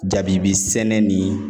Jabibi sɛnɛ ni